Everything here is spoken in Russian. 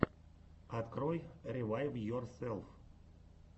открой ревайвйорселф